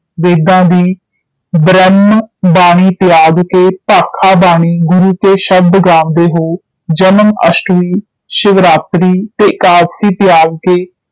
ਵੇਦਾਂ ਦੀ ਬ੍ਰਹਮ ਬਾਣੀ ਤਿਆਗ ਕੇ ਭਾਖਾ ਬਾਣੀ ਗੁਰੂ ਕੇ ਸ਼ਬਦ ਗਾਂਵਦੇ ਹੈ, ਜਨਮ ਅਸ਼ਟਮੀ, ਸ਼ਿਵਰਾਤ੍ਰੀ ਤੇ ਏਕਾਦਸ਼ੀ ਤਿਆਗ ਕੇ